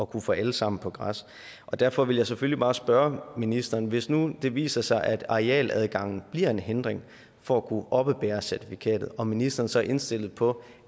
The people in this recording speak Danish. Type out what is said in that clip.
kunne få alle sammen på græs og derfor vil jeg selvfølgelig bare spørge ministeren hvis nu det viser sig at arealadgangen bliver en hindring for at kunne oppebære certifikatet er ministeren så indstillet på